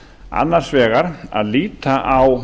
annars vegar að líta á